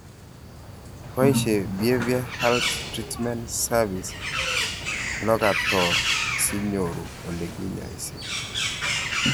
Baishe Behavioral Health Treatment Services Locator si nyoru ole kinyaishe